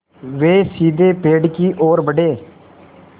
वे सीधे पेड़ की ओर बढ़े